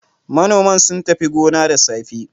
Manoman sun tafi gona da safe.